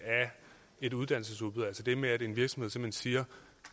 et uddannelsesudbud altså det med at en virksomhed simpelt hen siger